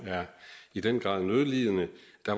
i den grad er nødlidende